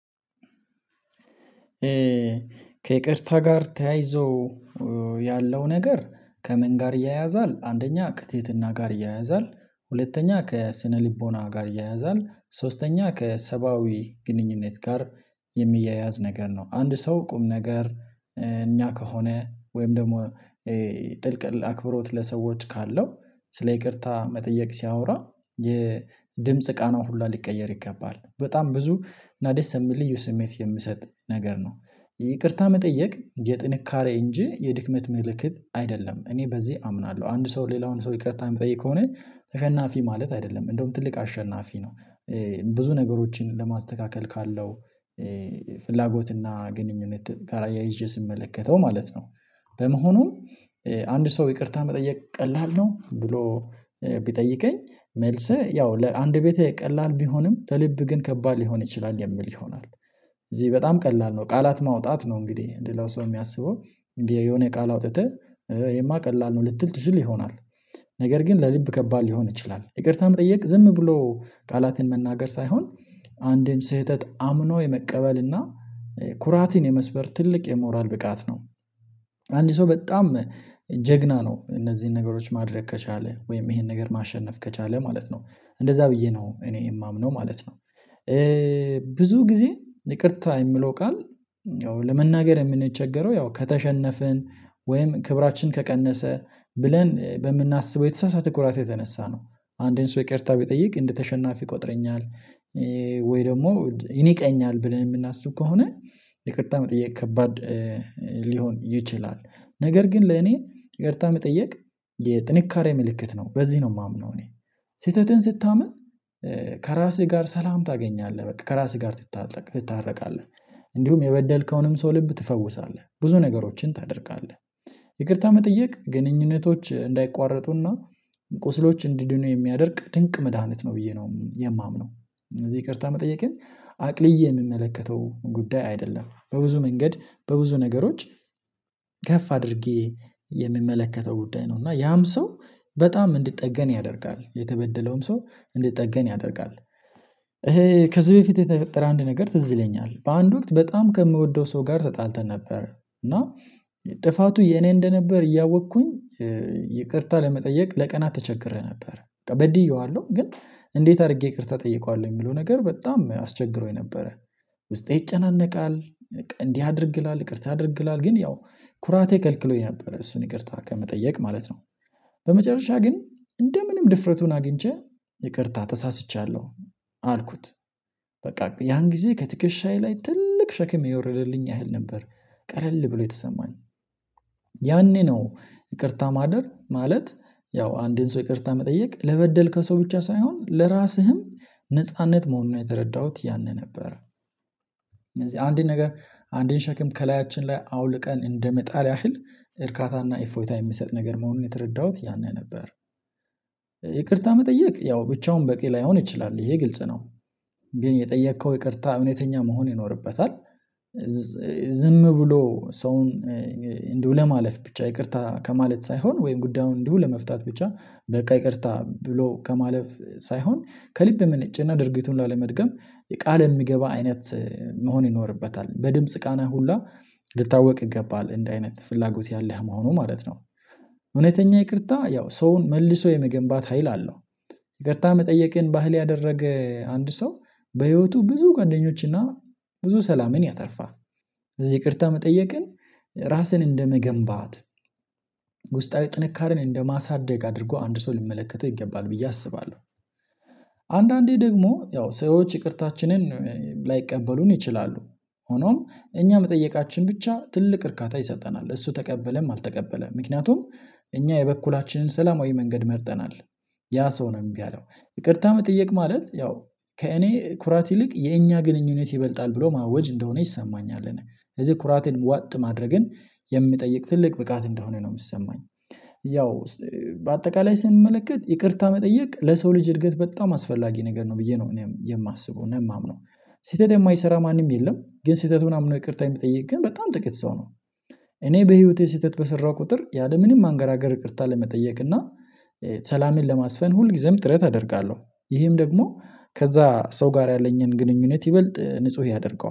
ከይቅርታ ጋር ተያይዞ ያለው ነገር ከምን ጋር ይያያዛል? አንደኛ ከትህትና ጋር ይያያዛል ሁለተኛ ከስነልቦና ጋር ይያያዛል ሶስተኛ ከሰባዊ ግንኙነት ጋር የሚያያዝ ነገር ነው አንድ ሰው ቁም ነገር እኛ ከሆነ ወይም ደግሞ ጥልቅ አክብሮት ለሰዎች ካለው ስለ ይቅርታ መጠየቅ ሲያወራ የድምጽ ቃናው ሁላ ሊቀየር ይገባል በጣም ብዙ እና ደስ የሚል ልዩ ስሜት የምሰጥ ነገር ነው። ይቅርታ መጠየቅ የጥንካሬ እንጂ የድክመት መልእክት አይደለም እኔ በዚህ አምናለሁ አንድ ሰው ሌላውን ሰው ይቅርታ የምጠይቅ ከሆነ ተሸናፊ ማለት አይደለም እንደውም ትልቅ አሸናፊ ነው። ብዙ ነገሮችን ለማስተካከል ካለው ፍላጎትና ግንኙነት ጋራ አያይዤ ስመለከተው ማለት ነው። በመሆኑም አንድ ሰው ይቅርታ መጠየቅ ቀላል ነው ብሎ ቢጠይቀኝ መልስህ ያው ለአንድ ቤት ቀላል ቢሆንም ከልብ ግን ከባድ ሊሆን ይችላል የሚል ይሆናል። እዚህ በጣም ቀላል ነው ቃላት ማውጣት ነው እንግዲህ ሌላው ሰው የሚያስበው እንዲህ የሆነ የቃል አውጥተህ ይሄማ ቀላል ነው ልትል ትችል ይሆናል ነገር ግን ለልብ ከባድ ሊሆን ይችላል ይቅርታም ጠየቅ ዝም ብሎ ቃላትን መናገር ሳይሆን አንዴን ስህተት አምኖ የመቀበል እና ኩራትን የመስበር ትልቅ የሞራል ብቃት ነው። አንድ ሰው በጣም ጀግና ነው እነዚህን ነገሮች ማድረግ ከቻለ ወይም ይሄን ነገር ማሸነፍ ከቻለ ማለት ነው እንደዛ ብዬ ነው እኔ የማምነው ማለት ነው። ብዙ ጊዜ ይቅርታ የሚለው ቃል ለመናገር የምንቸገረው ያው ከተሸነፍን ወይም ክብራችን ከቀነሰ ብለን በምናስበው የተሳሳተ ኩራት የተነሳ ነው አንድን ሰው ይቅርታ ቢጠይቅ እንደተሸናፊ ቆጥረኛል። ወይ ደግሞ ይንቀኛል ብለን የምናስብ ከሆነ የቅጣ መጠየቅ ከባድ ሊሆን ይችላል ነገር ግን ለኔ ይቅርታ መጠየቅ የጥንካሬ ምልክት ነው። በዚህ ነው የማምነው እኔ ስህተትን ስታምን ከራስህ ጋር ሰላም ታገኛለህ በቃ ከራስህ ጋር ትታረ ትታረቃለህ እንዲሁም የበደልከውንም ሰው ልብ ትፈውሳለህ ብዙ ነገሮችን ታደርጋለህ ይቅርታ መጠየቅ ግንኙነቶች እንዳይቋረጡና ቁስሎች እንዲድኑ የሚያደርግ ድንቅ መድሃኒት ነው ብዬ ነው የማምነው። እነዚህ ይቅርታ መጠየቅ የለም አቅልዬ የምመለከተው ጉዳይ አይደለም በብዙ መንገድ በብዙ ነገሮች ከፍ አድርጌ የሚመለከተው ጉዳይ ነው እና ያም ሰው በጣም እንድትጠገን ያደርጋል የተበደለውም ሰው እንዲጠገን ያደርጋል። ይሄ ከዚህ በፊት የተፈጠረ አንድ ነገር ትዝ ይለኛል በአንድ ወቅት በጣም ከምወደው ሰው ጋር ተጣልተን ነበር እና ጥፋቱ የኔ እንደነበር እያወቅኩኝ ይቅርታ ለመጠየቅ ለቀናት ተቸግሬ ነበር በድዬዋለሁ ግን እንዴት አድርጌ ይቅርታ ጠይቀዋለሁ የሚለው ነገር በጣም አስቸግሮኝ ነበረ። ውስጤ ይጨናነቃል እንዲህ አድርግላል ይቅርታ አድርግ ይላል ግን ያው ኩራቴ ከልክሎኝ ነበር እሱን ይቅርታ ከመጠየቅ ማለት ነው። በመጨረሻ ግን እንደ ምንም ድፍረቱን አግኝቼ ይቅርታ ተሳስቻለሁ አልኩት በቃ ያን ጊዜ ከትከሻዬ ላይ ትልቅ ሸክሜ ይወርድልኝ ያህል ነበር። ቀለል ብሎ የተሰማኝ ያኔ ነው ይቅርታ ማደር ማለት ያው አንድን ሰው ይቅርታ መጠየቅ ለበደል ከሰው ብቻ ሳይሆን ለራስህም ነጻነት መሆኑን የተረዳሁት ያንን ነበር። እነዚህ አንድን ነገር አንድን ሸክም ከላያችን ላይ አውልቀን እንደምጣል ያህል እርካታና ኢፎይታ የሚሰጥ ነገር መሆኑን የተረዳሁት ያኔ ነበር ይቅርታ መጠየቅ ያው ብቻውን በቂ ላይሆን ይችላል ይሄ ግልጽ ነው። ግን የጠየከው ይቅርታ እውነተኛ መሆን ይኖርበታል ዝም ብሎ ሰውን እንዲሁ ለማለፍ ብቻ ይቅርታ ከማለት ሳይሆን ወይም ጉዳዩን እንዲሁ ለመፍታት ብቻ በቃ ይቅርታ ብሎ ከማለፍ ሳይሆን ከልብ የመነጨና ድርጊቱን ላለመድገም የቃል የሚገባ አይነት መሆን ይኖርበታል በድምጽ ቃነ ሁላ ልታወቅ ይገባል እንደ አይነት ፍላጎት ያለህ መሆኑ ማለት ነው። እውነተኛ ይቅርታ ያው ሰውን መልሶ የመገንባት ሀይል አለው ይቅርታ መጠየቅን ባህል ያደረገ አንድ ሰው በህይወቱ ብዙ ጓደኞችና ብዙ ሰላምን ያተርፋል። እዚህ ይቅርታ መጠየቅን ራስን እንደመገንባት ውስጣዊ ጥንካሬን እንደማሳደግ አድርጎ አንድ ሰው ሊመለከተው ይገባል ብዬ አስባለሁ። አንዳንዴ ደግሞ ያው ሰዎች ይቅርታችንን ላይቀበሉን ይችላሉ ሆኖም እኛ መጠየቃችን ብቻ ትልቅ እርካታ ይሰጠናል እሱ ተቀበለም አልተቀበለም ምክንያቱም እኛ የበኩላችንን ሰላማዊ መንገድ መርጠናል ያ ሰው ነው እምቢ ይቅርታ መጠየቅ ማለት ያው ከእኔ ኩራት ይልቅ የእኛ ግንኙነት ይበልጣል ብሎ ማወጅ እንደሆነ ይሰማኛል። እዚህ ኩራቴን ዋጥ ማድረግን የምጠይቅ ትልቅ ብቃት እንደሆነ ነው የምትሰማኝ ያው በአጠቃላይ ስንመለከት ይቅርታ መጠየቅ ለሰው ልጅ እድገት በጣም አስፈላጊ ነገር ነው ብዬ ነው እኔም የማስበው እኔም የማምነው። ስህተት የማይሰራ ማንም የለም ግን ስህተቱን አምነው ይቅርታ የሚጠይቅ ግን በጣም ጥቂት ሰው ነው። እኔ በህይወቴ ስህተት በሰራው ቁጥር ያለምንም ማንገራገር እቅርታ ለመጠየቅ እና ሰላሜን ለማስፈን ሁልጊዜም ጥረት አደርጋለሁ። ይህም ደግሞ ከዛ ሰው ጋር ያለኝን ግንኙነት ይበልጥ ንጹህ ያደርገዋል